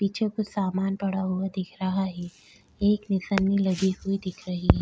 पीछे कुछ सामान पड़ा हुआ दिख रहा है एक निशानी लगी हुई दिख रही है।